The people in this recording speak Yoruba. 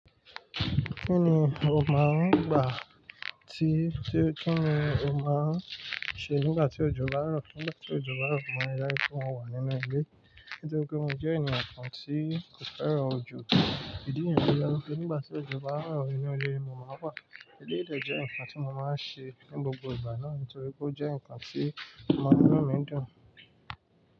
Kí ni o máa ń gbà tí, kí ni o máa ń ṣe nígbà tí òjò bá rọ̀? Nígbà tí òjò bá rọ̀, mo máa ri daju pe mo wà nínú ilé. Nítorí pé mo jẹ́ eeyàn kan tí kò fẹ́ràn òjò. Ìdí nìyẹn. Nígbà tí òjò bá rọ̀ ínú ilé, mo máa wà. Eléyii de jẹ́ ǹkan tí mo máa ń ṣe ní gbogbo ìgbà náà nítorí pé ó jẹ́ ǹkan tí ọ man mu nú mi dùn.